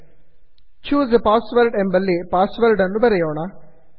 choose a password choose a password ಎಂಬಲ್ಲಿ password ಅನ್ನು ಬರೆಯೋಣ